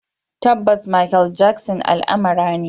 Tabbas, Makel Jaksin almara ne.